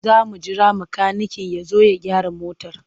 Za mu jira makaniken ya zo ya gyara motar.